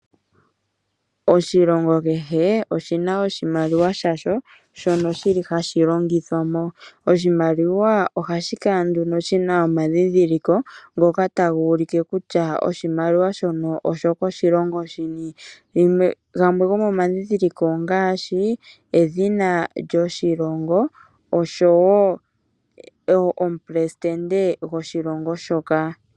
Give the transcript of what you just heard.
Oshilongo kehe oshina oshimaliwa shasho shono shili hashi longithwamo. Oshimaliwa ohashi kala nduno shina omadhidhiliko ngoka taga ulike kutya oshimaliwa shono osho koshilongo shini. Gamwe gomomadhidhiliko ongaashi, edhina lyoshilongo osho wo omuleli goshilongo shoka.